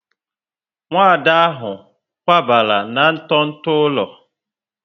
Nwada ahụ kwabara na nto nto ụlọ